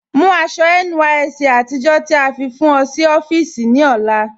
Mú àṣọ̀ NYSC àtìjọ́ tí a fi fún ọ̀ sí ọ̀fíìsí ní ọlá